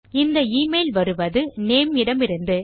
இந்த எமெயில் வருவது நேம் இடமிருந்து